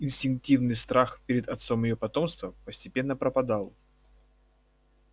инстинктивный страх перед отцом её потомства постепенно пропадал